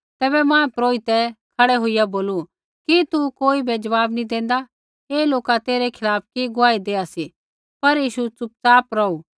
तैबै महापुरोहित खड़ै होईया बोलू कि तू कोई ज़वाब नी देंदा ऐ लोका तेरै खिलाफ़ कि गुआही देआ सी पर यीशु च़ुपच़ाप रौहू